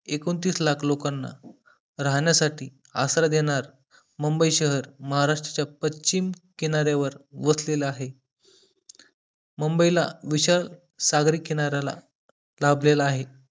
एकोणतीस लाख लोकांना राहण्यासाठी आसरा देणार मुंबई शहर महाराष्ट्राच्या पश्चिम किनाऱ्यावर वसलेलं आहे मुंबई ला विशाल सागरी किनाऱ्याला लाभलेला आहे